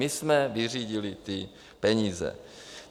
My jsme vyřídili ty peníze.